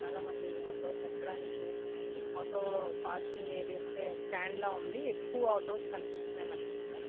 చాలా మంది ఆటో అక్కడానికి చూసున్నారు auto parking area at stand లా ఉంది ఎక్కువ ఆటోస్ కనిపిస్తోన్నాయి మనకి ఇక్కడ